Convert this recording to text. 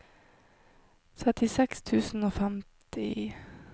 trettiseks tusen og femti